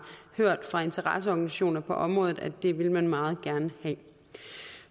hørt fra interesseorganisationer på området altså at det ville man meget gerne have